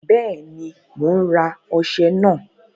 Bẹ́ẹ̀ni, mò ń rà ọṣẹ náà